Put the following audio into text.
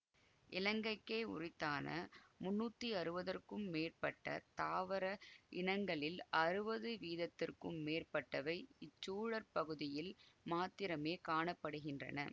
இலங்கைக்கே யுரித்தான முன்னூத்தி அறுவதற்க்கும் மேற்பட்ட தாவர இனங்களில் அறுவது வீதத்துக்கும் மேற்பட்டவை இச்சூழற் பகுதியில் மாத்திரமே காண படுகின்றன